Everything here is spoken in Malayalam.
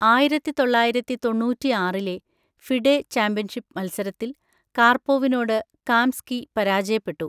ആയിരത്തിതൊള്ളയിരത്തിതൊണ്ണൂറ്റിആറിലെ ഫിഡെ ചാമ്പ്യൻഷിപ്പ് മത്സരത്തിൽ കാർപോവിനോട് കാംസ്കി പരാജയപ്പെട്ടു.